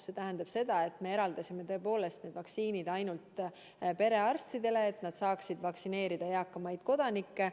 See tähendab, et me eraldasime tõepoolest need vaktsiinid ainult perearstidele, et nad saaksid vaktsineerida eakamaid kodanikke.